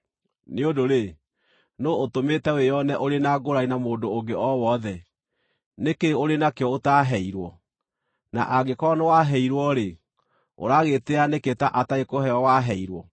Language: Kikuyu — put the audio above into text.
Nĩ ũndũ-rĩ, nũũ ũtũmĩte wĩone ũrĩ na ngũũrani na mũndũ ũngĩ o wothe? Nĩ kĩĩ ũrĩ nakĩo ũtaaheirwo? Na angĩkorwo nĩwaheirwo-rĩ, ũragĩĩtĩĩa nĩkĩ ta atarĩ kũheo waheirwo?